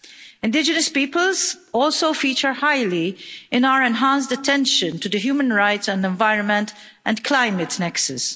Indigenous peoples also feature highly in our enhanced attention to the human rights and environment and climate nexus.